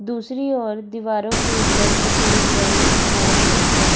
दूसरी ओर दीवारों के ऊपर सफेद रंग किया गया है।